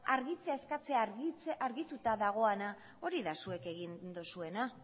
argitzea eskatzea argituta dagoena hori da zuek egin duzuena